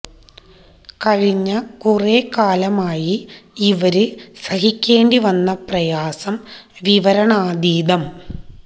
കഴിഞ്ഞ കുറെ കാലമായി ഇവര് സഹിക്കേണ്ടി വന്ന പ്രയാസം വിവരണാതീതം